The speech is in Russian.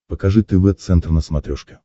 покажи тв центр на смотрешке